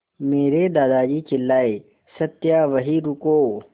मेरे दादाजी चिल्लाए सत्या वहीं रुको